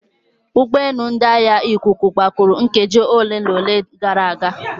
Ụgbọelu ndị agha ikuku gbapụrụ nkeji ole na ole gara aga.